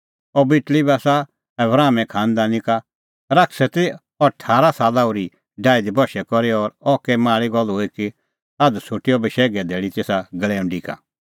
अह बेटल़ी बी आसा आबरामे खांनदानी का शैतानै ती अह ठारा साला ओर्ही डाही दी बशै करी और अह कै माल़ी गल्ल हुई कि आझ़ छ़ुटी अह बशैघे धैल़ी तेसा गल़ैऊंडी का